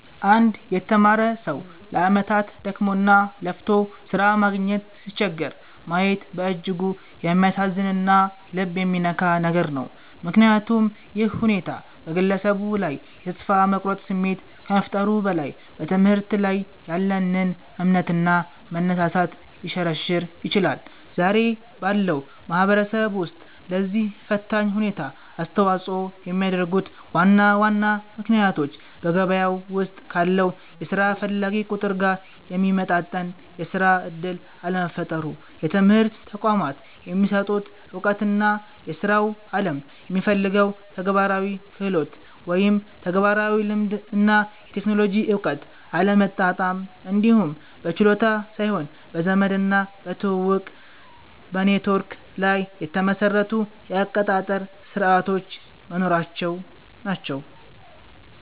አንድ የተማረ ሰው ለዓመታት ደክሞና ለፍቶ ሥራ ማግኘት ሲቸገር ማየት በእጅጉ የሚያሳዝንና ልብ የሚነካ ነገር ነው፤ ምክንያቱም ይህ ሁኔታ በግለሰቡ ላይ የተስፋ መቁረጥ ስሜት ከመፍጠሩም በላይ፣ በትምህርት ላይ ያለንን እምነትና መነሳሳት ሊሸረሽር ይችላል። ዛሬ ባለው ማህበረሰብ ውስጥ ለዚህ ፈታኝ ሁኔታ አስተዋጽኦ የሚያደርጉት ዋና ዋና ምክንያቶች በገበያው ውስጥ ካለው የሥራ ፈላጊ ቁጥር ጋር የሚመጣጠን የሥራ ዕድል አለመፈጠሩ፣ የትምህርት ተቋማት የሚሰጡት ዕውቀትና የሥራው ዓለም የሚፈልገው ተግባራዊ ክህሎት (ተግባራዊ ልምድ እና የቴክኖሎጂ እውቀት) አለመጣጣም፣ እንዲሁም በችሎታ ሳይሆን በዘመድና በትውውቅ (ኔትወርክ) ላይ የተመሰረቱ የአቀጣጠር ሥርዓቶች መኖራቸው ናቸው።